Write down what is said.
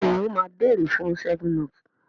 béèni o má beere fun 7up.